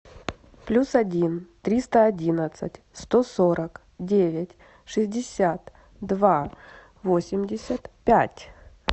плюс один триста одинадцать сто сорок девять шестьдесят два восемьдесят пять